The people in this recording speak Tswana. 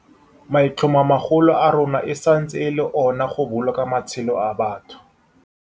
Maitlhomomagolo a rona e santse e le ona a go boloka matshelo a batho.